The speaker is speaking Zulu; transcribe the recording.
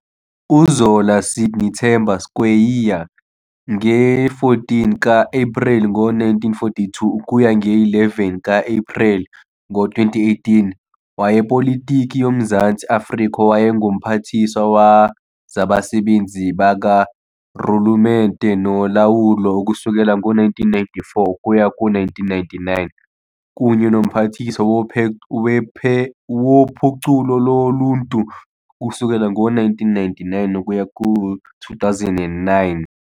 UZola Sidney Themba Skweyiya, nge-14 ka-Epreli ngo-1942 ukuya nge-11 ka-Epreli ngo-2018, wayepolitiki yoMzantsi Afrika owayengu-Mphathiswa Wezabasebenzi bakaRhulumente noLawulo ukusukela ngo-1994 ukuya ku-1999 kunye noMphathiswa woPhuculo loLuntu ukusukela ngo-1999 ukuya ku-2009.